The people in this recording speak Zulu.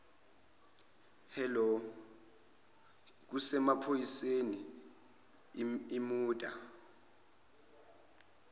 hello kusemaphoyiseni imurder